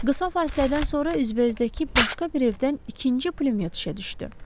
Qısa fasilədən sonra üzbəüzdəki başqa bir evdən ikinci pulyot işə düşdü.